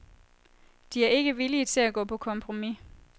De er ikke villige til gå på kompromis.